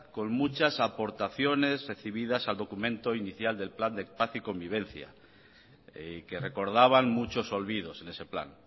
con muchas aportaciones recibidas al documento inicial del plan de paz y convivencia y que recordaban muchos olvidos en ese plan